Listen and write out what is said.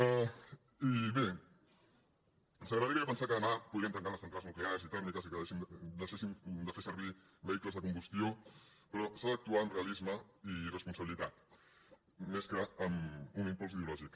i bé ens agradaria pensar que demà podríem tancar les centrals nuclears i tèrmiques i que deixéssim de fer servir vehicles de combustió però s’ha d’actuar amb realisme i responsabilitat més que no amb un impuls ideològic